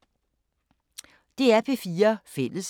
DR P4 Fælles